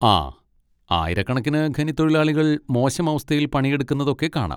ആ, ആയിരക്കണക്കിന് ഖനിത്തൊഴിലാളികൾ മോശം അവസ്ഥയിൽ പണിയെടുക്കുന്നതൊക്കെ കാണാം.